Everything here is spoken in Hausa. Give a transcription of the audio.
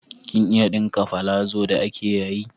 Kin iya ɗinka palazo da ake yayi?